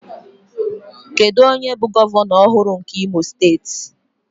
Kedu onye bụ gọvanọ ọhụrụ nke Imo steeti?